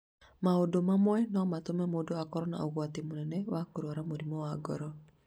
Maũndũ mamwe no matũme mũndũ akorũo na ũgwati mũnene wa kũrũara mũrimũ wa ngoro.